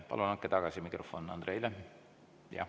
Palun andke mikrofon uuesti Andreile.